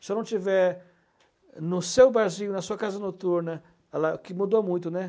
Se eu não estiver no seu barzinho, na sua casa noturna, ela que mudou muito, né?